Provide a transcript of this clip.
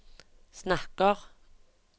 snakker